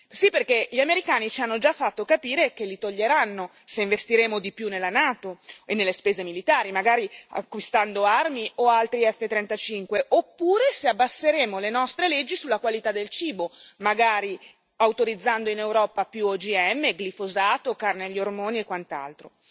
Sì, perché gli americani ci hanno già fatto capire che li toglieranno se investiremo di più nella Nato e nelle spese militari, magari acquistando armi o altri F35, oppure se abbasseremo le nostre leggi sulla qualità del cibo, magari autorizzando in Europa più OGM, glifosato, carne agli ormoni e quant'altro.